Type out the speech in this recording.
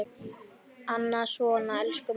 Annað svona: Elsku mamma!